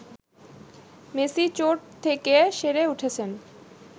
Messi চোট থেকে সেরে উঠেছেন